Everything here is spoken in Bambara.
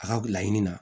A ka laɲini na